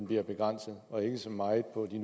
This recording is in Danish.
bliver begrænset og ikke så meget på de